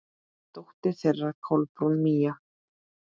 Dóttir þeirra: Kolbrún Mía.